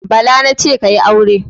Bala na ce, "ka yi aure".